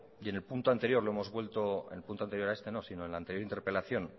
y en el punto anterior lo hemos vuelvo en el punto anterior a este sino en el anterior interpelación